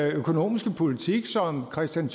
økonomiske politik som kristian